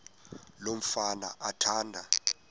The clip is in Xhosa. lo mfana athanda